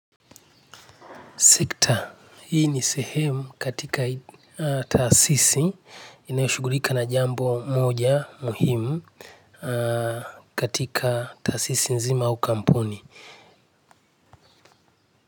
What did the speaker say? Sekta hii ni sehemu katika taasisi inayoshughulika na jambo moja muhimu. Katika taasisi nzima au kampuni.